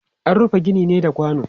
Ana rufe gini ne da kwano.